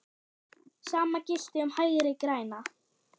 Sama gilti um Hægri græna.